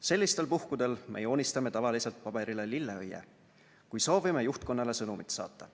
Sellistel puhkudel me joonistame tavaliselt paberile lilleõie, kui soovime juhtkonnale sõnumit saata.